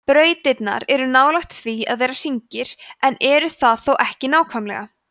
brautirnar eru nálægt því að vera hringir en eru það þó ekki nákvæmlega